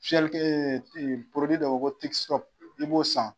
Fiɲɛlikɛ porodi dɔ bɛ yen ko iksi tɔp i b'o san.